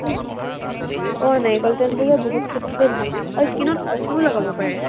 আহ নাৰিকল তেলটো যে বহুত ক্ষেত্ৰতেই ভাল। skin ত কফিও লগাব পাৰে।